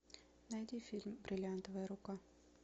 найди фильм бриллиантовая рука